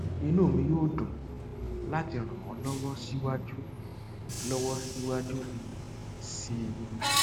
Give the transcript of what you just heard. inú mi yóò dùn láti ràn ọ lọwọ síwájú lọwọ síwájú um sí i